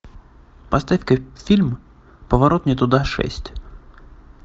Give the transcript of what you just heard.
поставь ка фильм поворот не туда шесть